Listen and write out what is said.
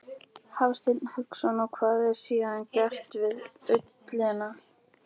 Hafsteinn Hauksson: Og hvað er síðan gert við ullina?